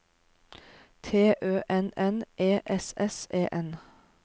T Ø N N E S S E N